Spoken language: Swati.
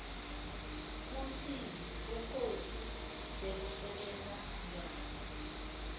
kutsi bukhosi bebusebenta njani